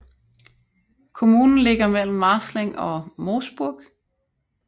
Kommunen ligger mellem Marzling og Moosburg